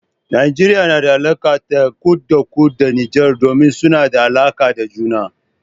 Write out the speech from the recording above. Najeriya na da alaka ta kut-da-kut da Nijar, domin suna da alaka da juna.